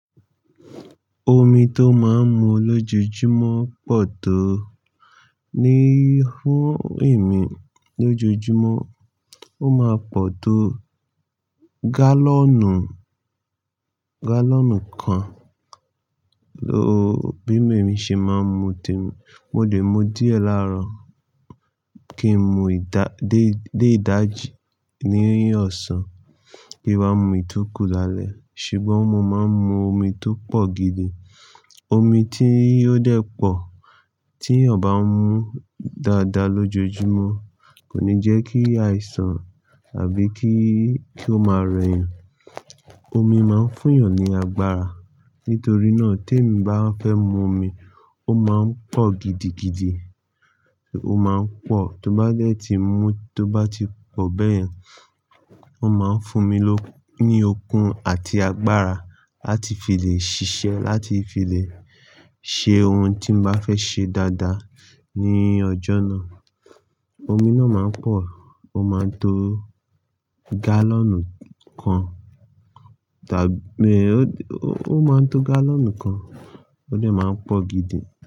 Omi tó máa ń mu lójoojúmọ́ pọ̀ tó. Ní fún èmi lójoojúmọ́, ó máa ń pọ̀ tó gálọ̀nù, gálọ̀nù kan ló, bí mo ṣe máa ń mu té-- mo lè mu díẹ̀ láàárọ̀ kí n mu ìdá-- dé, dé ìdájí ní ọ̀sán kí n máa mu ìtúkù lálẹ́. Ṣùgbọ́n mo máa ń mu omi tó pọ̀ gidi. Omi tí yóò dẹ́ pọ̀ tí ènìyàn bá ń mu dáadáa lójoojúmọ́ kò ní jẹ́ kí àìsàn àbí kí, kí ó máa rẹ̀yàn. Omi máa ń fún ènìyàn ní agbára. Nítorí náà tí èmi bá fẹ́ mu omi, ó máa ń pọ̀ gidigidi. Ó máa ń pọ̀ tó bá dẹ́ ti mú, tó bá ti pọ̀ bẹ́yẹn, ó máa ń fún mi lókù ní okun àti agbára láti fi lè ṣiṣẹ́, láti fi lè ṣe ohun tí n bá fẹ́ ṣe dáadáa ní ọjọ́ náà. Omi náà máa ń pọ̀, ó máa ń to gálọ̀nù kan tàbí ó, ó máa ń to gálọ̀nù kan, ó lè máa ń pọ̀ gidi.